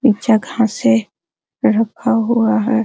नीचा घासे रखा हुआ है।